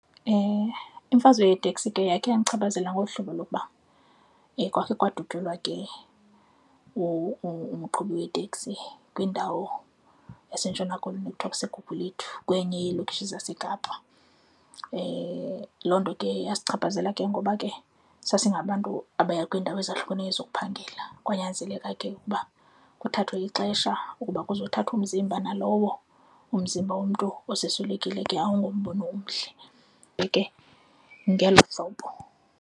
Imfazwe yeteksi ke yakhe yandichaphazela ngolu hlobo lokuba kwakhe kwadutyulwa ke umqhubi weteksi kwindawo yaseNtshona Koloni ekuthiwa kuseGugulethu, kwenye yeelokishi zaseKapa. Loo nto ke yasichaphazela ke ngoba ke sasingabantu abaya kwiindawo ezahlukeneyo zokuphangela kwanyanzeleka ke ukuba kuthathwe ixesha ukuba kuzothathwa umzimba nalowo umzimba womntu oseyiswelekile ke awungombono omhle ngelo hlobo.